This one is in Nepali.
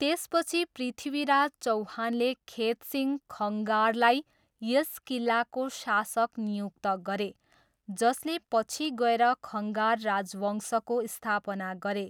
त्यसपछि पृथ्वीराज चौहानले खेतसिंह खङ्गारलाई यस किल्लाको शासक नियुक्त गरे जसले पछि गएर खङ्गार राजवंशको स्थापना गरे।